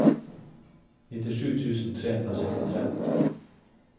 nittisju tusen tre hundre og sekstitre